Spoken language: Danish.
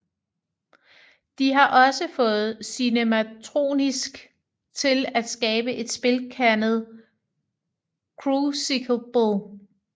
De har også fået Cinematronics til at skabe et spil kaldet Crucible